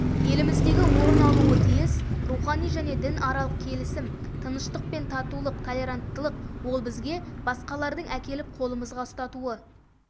еліміздегі орын алуы тиіс рухани және дінаралық келісім тыныштық пен татулық толеранттылық ол бізге басқалардың әкеліп қолымызға ұстатуы